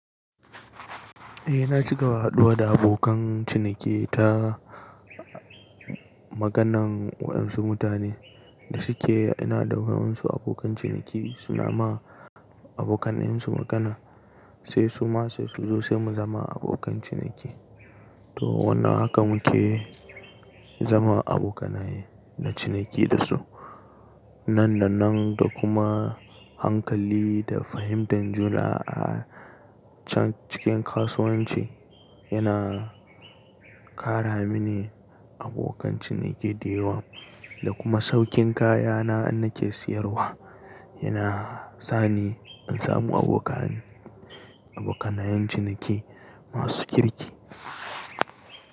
Eh na ci gaba haɗuwa da abokan ciniki ta maganan waɗansu mutane da suke yana da waɗansu abokan ciniki suna ma abokanansu magana, sai su ma su zo sai mu zama abokan ciniki. To wannan haka muke zama abokanai na ciniki da su. Nan da nan da kuma hankali da fahimtar juna a can cikin kasuwanci yana ƙara mini abokan ciniki da yawa, da kuma saukin kayana in nake siyarwa yana sani in samu abokan, abokanayin ciniki masu kirki.